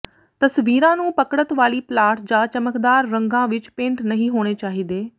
ਤਸਵੀਰਾਂ ਨੂੰ ਪਕੜਤ ਵਾਲੀ ਪਲਾਟ ਜਾਂ ਚਮਕਦਾਰ ਰੰਗਾਂ ਵਿੱਚ ਪੇਂਟ ਨਹੀਂ ਹੋਣੇ ਚਾਹੀਦੇ